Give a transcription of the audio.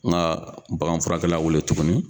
N ka baganfurakɛla wele tuguni.